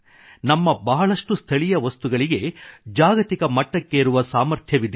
ನಮ್ಮ ಬಹಳಷ್ಟು ಸ್ಥಳೀಯ ವಸ್ತುಗಳಿಗೆ ಜಾಗತಿಕ ಮಟ್ಟಕ್ಕೇರುವ ಸಾಮರ್ಥ್ಯವಿದೆ